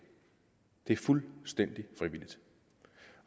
det er fuldstændig frivilligt